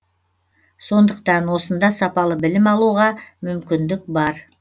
сондықтан осында сапалы білім алуға мүмкіндік бар